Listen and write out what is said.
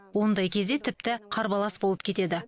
ондай кезде тіпті қарбалас болып кетеді